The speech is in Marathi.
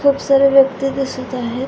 खूप सारे व्यक्ति दिसत आहेत.